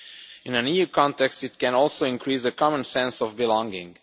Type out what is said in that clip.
In an EU context, it can also increase a common sense of belonging.